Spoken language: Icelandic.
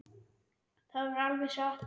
Það var alveg satt.